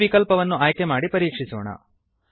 ಈ ವಿಕಲ್ಪವನ್ನು ಆಯ್ಕೆ ಮಾಡಿ ಪರೀಕ್ಷಿಸೋಣ